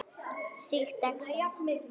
Sýkt exem